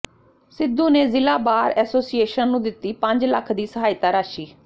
ਸਿੱਧੂ ਨੇ ਜ਼ਿਲ੍ਹਾ bar association ਨੂੰ ਦਿੱਤੀ ਪੰਜ ਲੱਖ ਦੀ ਸਹਾਇਤਾ ਰਾਸ਼ੀ